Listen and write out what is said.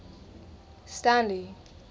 stanley